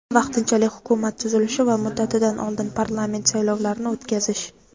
vaqtinchalik Hukumat tuzilishi va muddatidan oldin parlament saylovlarini o‘tkazish.